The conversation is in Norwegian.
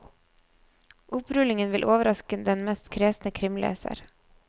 Opprullingen vil overraske den mest kresne krimleser.